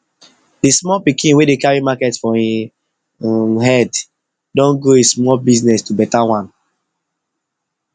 de small pikin wey dey carry market for in um e head don grow e small business to better one